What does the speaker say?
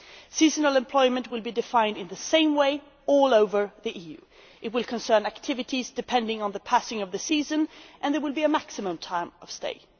Seasonal employment will be defined in the same way throughout the EU it will concern activities that depend on the passage of the seasons and there will be a maximum time of stay.